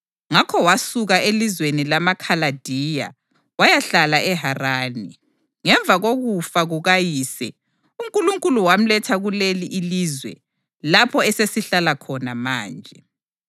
Ngakho wasuka elizweni lamaKhaladiya wayahlala eHarani. Ngemva kokufa kukayise, uNkulunkulu wamletha kuleli ilizwe lapho eselihlala khona manje.